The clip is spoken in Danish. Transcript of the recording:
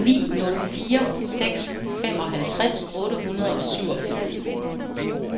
ni nul fire seks femoghalvtreds otte hundrede og syvogfirs